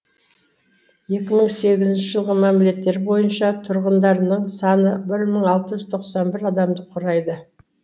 екі мың сегізінші жылғы мәліметтер бойынша тұрғындарының саны бір мың алты жүз тоқсан бір адамды құрайды